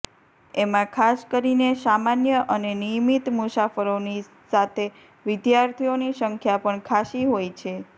એમા ખાસ કરીને સામાન્ય અને નિયમિત મુસાફરોની સાથે વિદ્યાર્થીઓની સંખ્યા પણ ખાસ્સી હોય છે